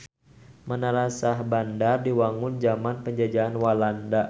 Menara Syahbandar diwangun jaman penjajahan Walanda